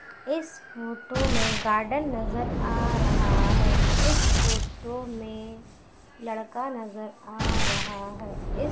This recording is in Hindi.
इस फोटो में गार्डन नजर आ रहा है इस फोटो में लड़का नजर आ रहा है इस--